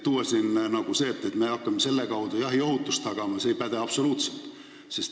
Nii et see väide, et me hakkame selle koolituse kaudu jahi ohutust tagama, ei päde absoluutselt.